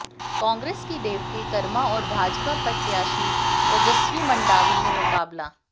कांग्रेस की देवती कर्मा और भाजपा प्रत्याशी ओजस्वी मंडावी में मुकाबला